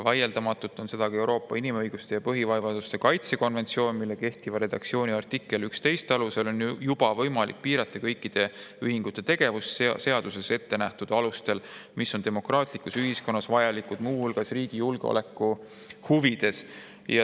Vaieldamatult on seda ka Euroopa inimõiguste ja põhivabaduste kaitse konventsioon, mille kehtiva redaktsiooni artikli 11 alusel on juba võimalik piirata kõikide ühingute tegevust seaduses ette nähtud alustel, mis on demokraatlikus ühiskonnas vajalikud muu hulgas riigi julgeoleku huvides.